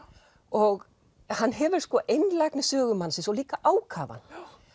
og hann hefur sko einlægni sögumannsins og líka ákafann